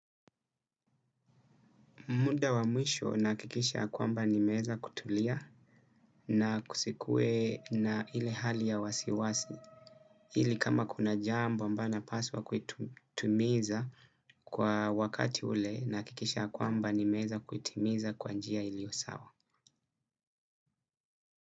Muda wa mwisho nahakikisha ya kwamba nimeweza kutulia na kusikue na ile hali ya wasiwasi. Ili kama kuna jambo ambayo napaswa kuitumiza kwa wakati ule nahakikisha ya kwamba nimeweza kuitimiza kwa njia iliyo sawa.